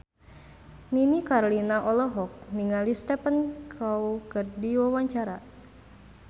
Nini Carlina olohok ningali Stephen Chow keur diwawancara